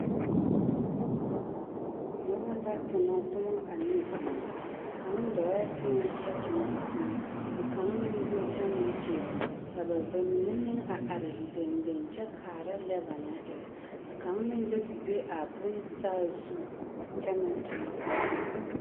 Noba la tonɔ tomɔ ane vūū, kaŋ dɔɔɛ teŋɛ kyɛ tonɔ a tomɔ ka kaŋ meŋ go kyɛ meŋ tonɔ, ka ba bamine meŋ a are dendeŋ kyɛ kaara lɛ banaŋ erɛ ka kaŋ meŋ do te be a bonsaazu kyɛ meŋ tonɔ a tomɔ.